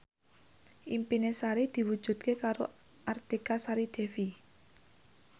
impine Sari diwujudke karo Artika Sari Devi